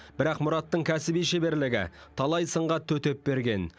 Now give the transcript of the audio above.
бірақ мұраттың кәсіби шеберлігі талай сынға төтеп берген